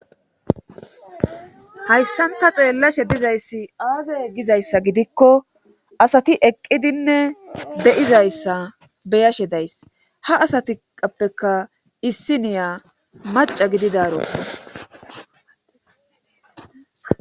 hayssanta xeellashe dizayssi aazay eggizayssa gidikko asati eqqidinne deizayssa beyashe days ha asatiappeka issi niya maca gididaroko